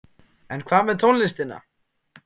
En hvað með tónlistina?